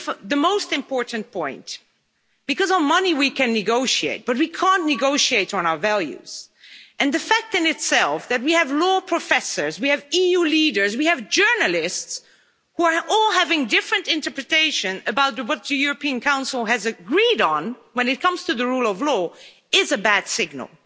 The most important point because of money we can negotiate, but we can't negotiate on our values, and the fact in itself that we have law professors, we have EU leaders, we have journalists who are all having a different interpretation about what the European Council has agreed on when it comes to the rule of law, is a bad signal.